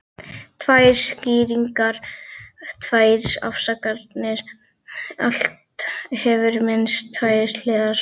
Tvær skýringar, tvær afsakanir, allt hefur minnst tvær hliðar.